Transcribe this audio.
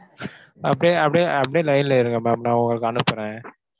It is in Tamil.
அப்படியே அப்படியே அப்படியே line ல இருங்க ma'am நான் உங்களுக்கு அனுப்புறேன்.